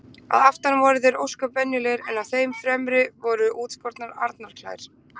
Að aftan voru þeir ósköp venjulegir en á þeim fremri voru útskornar arnarklær.